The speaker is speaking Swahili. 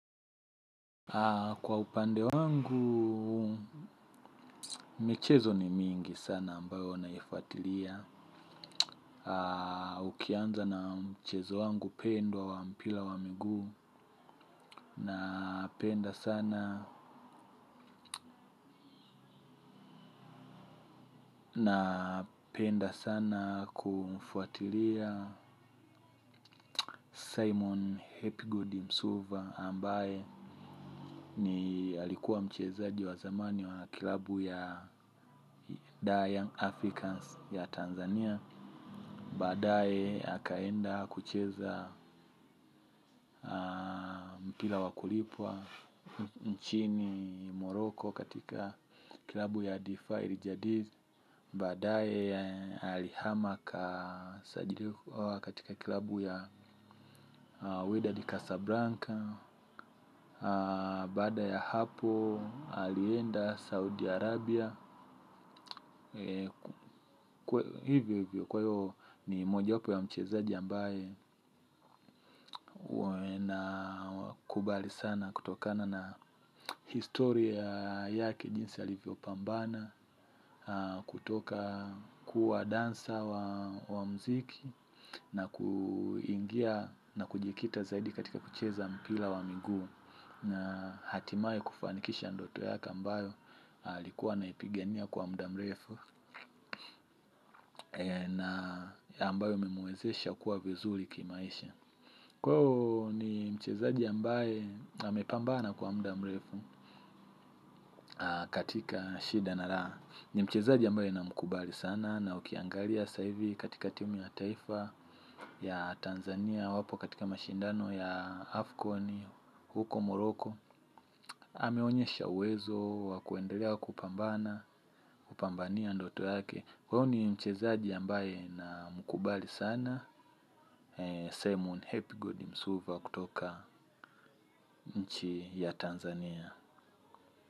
Kwa upande wangu, michezo ni mingi sana ambayo naifuatilia. Ukianza na mchezo wangu pendwa wa mpira wa miguu. Napenda sana kuufuatilia Simon Hepigodi Msova ambaye ni alikuwa mchezaji wa zamani wa kilabu ya Dying Africans ya Tanzania. Baadae akaenda kucheza mpira wakulipwa nchini moroko katika kilabu ya Defi Rijadiz. Baadae alihama katika kilabu ya Widadi Kasabranka. Baada ya hapo alienda Saudi Arabia. Hivyo hivyo kwayo ni moja wapo ya mchezaji ambaye na kubali sana kutokana na historia yake jinsi alivyo pambana. Kutoka kuwa dansa wa mziki na kuingia na kujikita zaidi katika kucheza mpira wa miguu. Na hatimaye kufanikisha ndoto yake ambayo alikuwa anaipigania kwa mda mrefu. Na ambayo imemwewezesha kuwa vizuri kimaisha. Kwao ni mchezaji ambaye amepambana kwa mda mrefu katika shida na Raha. Ni mchezaji ambaye namkubali sana. Na ukiangalia sasa hivi katika timu ya taifa ya Tanzania. Wapo katika mashindano ya Afconi huko Moroko ameonyesha uwezo wa kuendelea kupambana kupambania ndoto yake. Kwao ni mchezaji ambaye namkubali sana. Sehemu ni hepi gudi msuva kutoka nchi ya Tanzania.